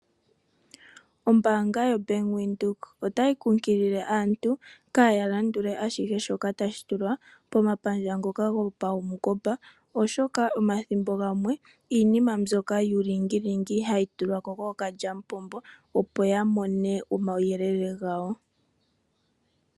Ombanga yoBank windhoek otayi kunkilile aantu kaya landule ashihe shoka tashi tulwa komapandja ngoka gopawungomba oshoka omathimbo gamwe iinima mbyoka yuulingilingi hayi tulwa ko kookalyampombo opo ya mone omawuyelele gawo.